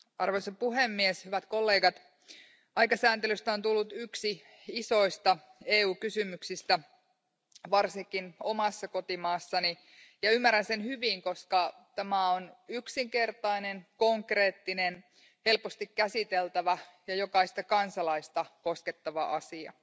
Arvoisa puhemies, hyvät kollegat, aikasääntelystä on tullut yksi isoista EU kysymyksistä varsinkin omassa kotimaassani ja ymmärrän sen hyvin, koska tämä on yksinkertainen, konkreettinen, helposti käsiteltävä ja jokaista kansalaista koskettava asia,